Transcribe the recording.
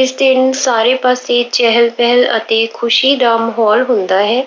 ਇਸ ਦਿਨ ਸਾਰੇ ਪਾਸੇ ਚਹਿਲ-ਪਹਿਲ ਅਤੇ ਖੁਸ਼ੀ ਦਾ ਮਾਹੌਲ ਹੁੰਦਾ ਹੈ।